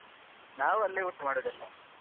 ನಾವು ಅಲ್ಲೇ ಊಟ ಮಾಡುದು ಅಲ್ಲಾ .